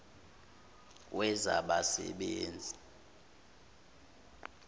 wezabasebenzi